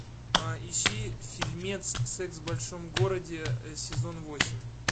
ищи фильмец секс в большом городе сезон восемь